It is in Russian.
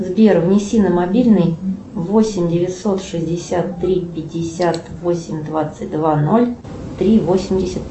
сбер внеси на мобильный восемь девятьсот шестьдесят три пятьдесят восемь двадцать два ноль три восемьдесят